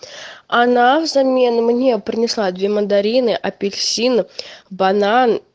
она взамен мне принесла две мандарины апельсин банан